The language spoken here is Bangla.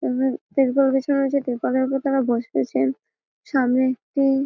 ত্রিপল বিছানো আছে ত্রিপলের উপর তারা বসে আছেন সামনে একটি।